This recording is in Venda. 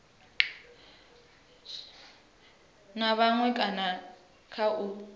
na maṅwe kana kha u